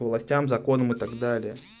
властям законом и так далее